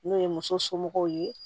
N'o ye muso somɔgɔw ye